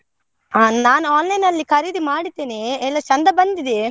ಆ, ನಾನ್ online ಅಲ್ಲಿ ಖರೀದಿ ಮಾಡಿದೆನೇ ಎಲ್ಲಾ ಚೆಂದ ಬಂದಿದೆ.